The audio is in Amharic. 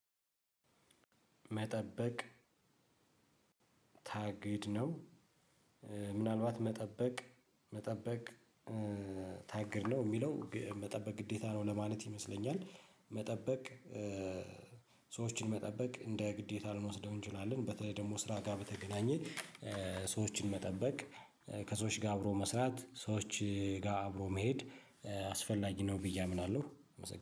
መጠበቅ ታግድ ነው ምናልባት መጠበቅ መጠበቅ ታግድ ነው የሚለው መጠበቅ ግዴታ ነው ለማለት ይመስለኛል። መጠበቅ ሰዎችን መጠበቅ እንደ ግዴታ ልንወስደው እንችላለን በተለይ ደግሞ ስራ ጋር በተገናኘ። ሰዎችን መጠበቅ ከሰዎች ጋር አብሮ መስራት ሰዎች ጋር አብሮ መሄድ አስፈላጊ ነው። ብዬ አምናለሁ